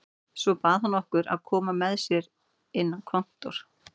Svo bað hann okkur að koma með sér inn á kontór.